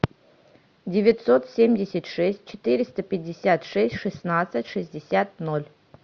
девятьсот семьдесят шесть четыреста пятьдесят шесть шестнадцать шестьдесят ноль